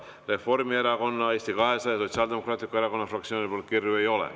Reformierakonna, Eesti 200 ja Sotsiaaldemokraatliku Erakonna fraktsioonilt kirju ei ole.